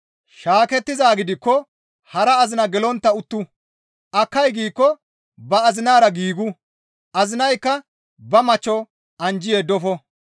Shaakettizaa gidikko hara azina gelontta uttu; akkay giikko ba azinara giigu; azinaykka ba machcho anjji yeddofo.